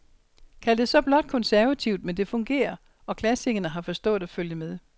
Kald det så blot konservativt, men det fungerer, og klassikerne har forstået at følge med.